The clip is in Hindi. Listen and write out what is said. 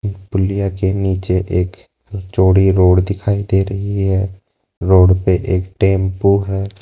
पुलिया के नीचे एक चौड़ी रोड दिखाई दे रही है रोड पे एक टेंपो है।